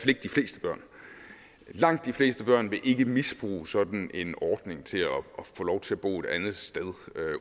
ikke de fleste børn langt de fleste børn vil ikke misbruges sådan en ordning til at få lov til bo et andet sted